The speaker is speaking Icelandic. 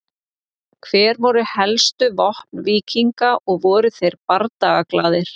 Hver voru helstu vopn víkinga og voru þeir bardagaglaðir?